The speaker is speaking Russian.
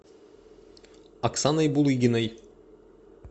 оксаной булыгиной